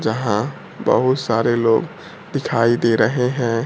जहां बहुत सारे लोग दिखाई दे रहे है।